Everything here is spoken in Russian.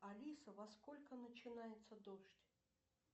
алиса во сколько начинается дождь